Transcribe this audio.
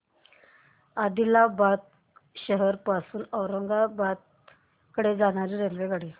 आदिलाबाद शहर पासून औरंगाबाद कडे जाणारी रेल्वेगाडी